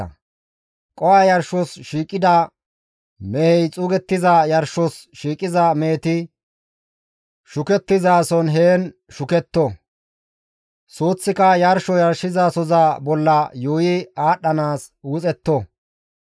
qoho Yarshos shiiqida mehey xuugettiza yarshos shiiqiza meheti shukettizason heen shuketto; suuththaaka yarsho yarshizasoza bolla yuuyi aadhdhanaas wuxetto.